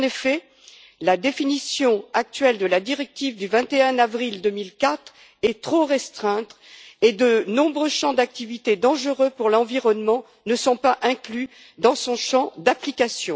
En effet, la définition actuelle de la directive du 21 avril 2004 est trop restreinte, et de nombreux champs d'activité dangereux pour l'environnement ne sont pas inclus dans son champ d'application.